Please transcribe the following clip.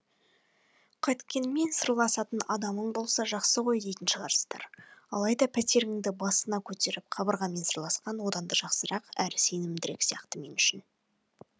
қайткенмен сырласатын адамын болса жақсы ғой дейтін шығарсыздар алайда пәтеріңді басына көтеріп қабырғамен сырласқан одан да жақсырақ әрі сенімдірек сияқты мен үшін